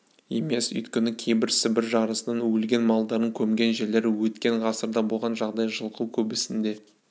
емес өйткені кейбір сібір жарасынан өлген малдардың көмген жерлері өткен ғасырда болған жағдай жылғы көбісінде